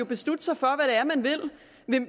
beslutte sig for